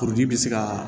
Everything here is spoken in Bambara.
Kuruji bi se kaa